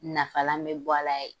Nafalan bɛ bɔ a la yen